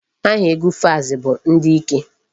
Aha egwu Falz bụ ndị ike.